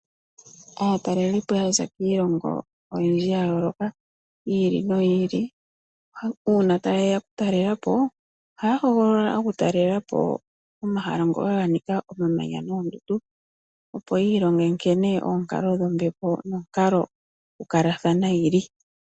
Aatalelipo oyendji ya za kiilongo ya yooloka yi ili noyi ili uuna taye ya okutalela po, ohaya hogolola okutalelapo omahala ngoka ganika omamanya noondundu opo yiilonge nkene oonkalo dhombepo nokonkalo dhokukalathana dhi ili.